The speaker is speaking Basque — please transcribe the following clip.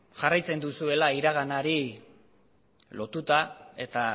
jarraitzen duzuela iraganari lotuta eta